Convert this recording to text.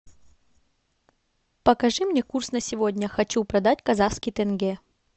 покажи мне курс на сегодня хочу продать казахский тенге